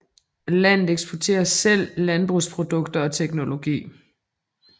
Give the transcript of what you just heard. Landet eksporterer selv landbrugsprodukter og teknologi